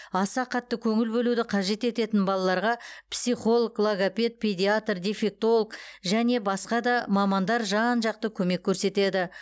аса қатты көңіл бөлуді қажет ететін балаларға психолог логопед педиатр дефектолог және басқа да мамандар жан жақты көмек көрсетеді